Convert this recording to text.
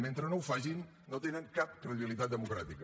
mentre no ho facin no tenen cap credibilitat democràtica